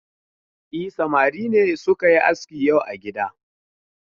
E, samari ne suka yi aski yau a gida.